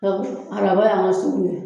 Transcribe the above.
Sabu araba y'an ka sugu ye.